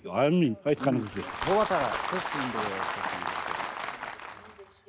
әмин айтқаныңыз келсін болат аға